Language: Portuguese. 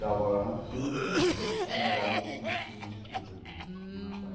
Dava aula na Puc e dava aula no curso de filosofia também, na Fae.